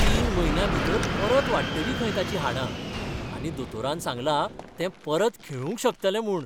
तीन म्हयन्यां भितर परत वाडटलीं खंय ताचीं हाडां, आनी दोतोरान सांगलां, तें परत खेळूंक शकतलें म्हूण.